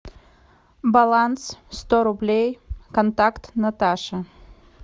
баланс сто рублей контакт наташа